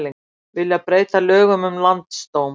Vilja breyta lögum um landsdóm